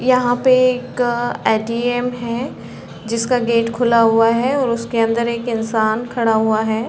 यहाँ पे एक ऐ .टी.एम है जिसका गेट खुला हुआ है और उसके अन्दर एक इंसान खड़ा हुआ है।